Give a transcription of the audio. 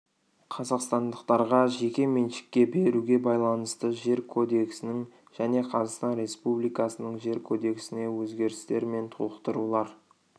қазақстандықтарға жеке меншікке беруге байланысты жер кодексінің және қазақстан республикасының жер кодексіне өзгерістер мен толықтырулар